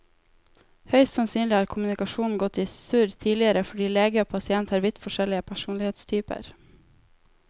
Høyst sannsynlig har kommunikasjonen gått i surr tidligere fordi lege og pasient har vidt forskjellig personlighetstyper.